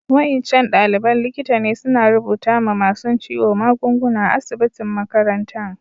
Wa'incan dalibain likita ne suna rubuta ma masun ciwo magunguna a'asibitin makarantan.